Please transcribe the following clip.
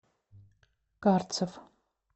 карцев